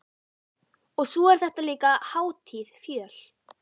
Og svo er þetta líka hátíð fjöl